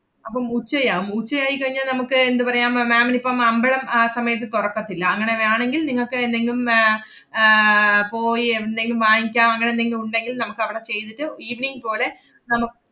അപ്പം ഉച്ചയാം. ഉച്ച ആയിക്കഴിഞ്ഞാ നമ്മക്ക് എന്തു പറയാം അഹ് ma'am ന് ഇപ്പം അമ്പലം ആ സമയത്ത് തൊറക്കത്തില്ല. അങ്ങനെ വേണങ്കിൽ നിങ്ങക്ക് എന്തെങ്കിലും ഏർ ആഹ് പോയി എവിടുന്നെങ്കിലും വാങ്ങിക്കാം, അങ്ങനെ എന്തെങ്കിലും ഉണ്ടെങ്കിൽ നമ്മക്കവടെ ചെയ്തിട്ട് evening പോളെ നമ്മ~